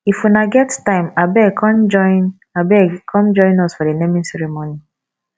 if una get time abeg come join abeg come join us for the naming ceremony